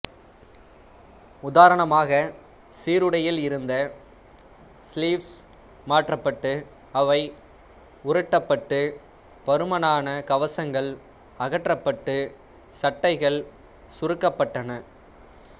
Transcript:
உதாரணமாக சீருடையில் இருந்த ஸ்லீவ்ஸ் மாற்றப்பட்டு அவை உருட்டப்பட்டு பருமனான கவசங்கள் அகற்றப்பட்டு சட்டைகள் சுருக்கப்பட்டன